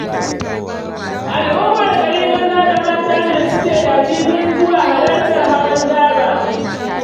Al'ummar gari maza da mata ne suke dafifin zuwa halartar hawan daba.